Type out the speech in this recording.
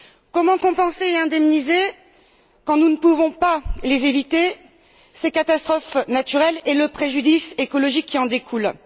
Comment compenser et indemniser quand nous ne pouvons pas éviter ces catastrophes naturelles et le préjudice écologique qui en découle.